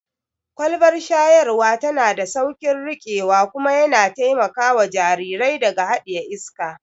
Kwalbar shayarwa tana da sauƙin riƙewa kuma kuma yana taimakawa jarirai daga haɗiye iska.